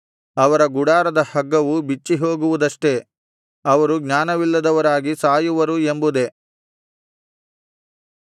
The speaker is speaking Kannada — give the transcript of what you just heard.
ಅವರ ಗುಡಾರದ ಹಗ್ಗವು ಬಿಚ್ಚಿಹೋಗುವುದಷ್ಟೆ ಅವರು ಜ್ಞಾನವಿಲ್ಲದವರಾಗಿ ಸಾಯುವರು ಎಂಬುದೇ